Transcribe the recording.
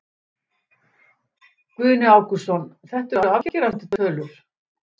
Guðni Ágústsson, þetta eru afgerandi tölur?